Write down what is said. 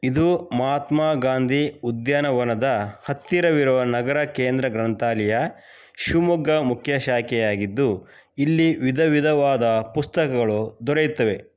ಇದು ಮಹಾತ್ಮಗಾಂಧಿ ಉದ್ಯಾನವನದ ಹತ್ತಿರವಿರುವ ನಗರ ಕೇಂದ್ರ ಗ್ರಂಥಾಲಯ ಶಿವಮೊಗ್ಗ ಮುಖ್ಯ ಶಾಖೆಯಾಗಿದ್ದು ಇಲ್ಲಿ ವಿಧವಿದವಾದ ಪುಸ್ತಕಗಳು ದೊರೆಯುತ್ತವೆ.